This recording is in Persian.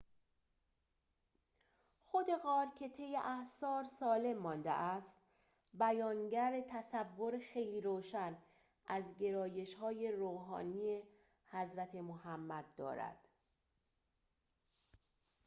خود غار که طی اعصار سالم مانده است بیانگر تصور خیلی روشن از گرایش‌های روحانی حضرت محمد دارد